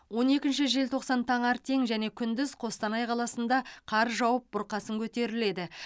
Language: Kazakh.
он екінші желтоқсан таңертең және күндіз қостанай қаласында қар жауып бұрқасын көтеріледі